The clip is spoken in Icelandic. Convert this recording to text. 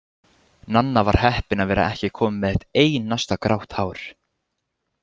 Nanna var heppin að vera ekki komin með eitt einasta grátt hár.